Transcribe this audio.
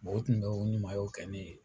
Bɔn u tun bɛ o ɲuman o kɛ ne ye.